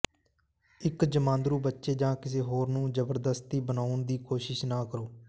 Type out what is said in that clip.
ਇੱਕ ਜਮਾਂਦਰੂ ਬੱਚੇ ਜਾਂ ਕਿਸੇ ਹੋਰ ਨੂੰ ਜ਼ਬਰਦਸਤੀ ਬਣਾਉਣ ਦੀ ਕੋਸ਼ਿਸ਼ ਨਾ ਕਰੋ